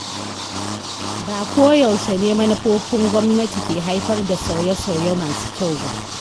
Ba ko yaushe ne manufofin gwamnati ke haifar da sauye-sauye masu kyau ba.